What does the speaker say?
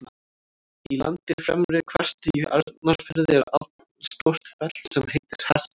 Í landi Fremri-Hvestu í Arnarfirði er allstórt fell sem heitir Hestur.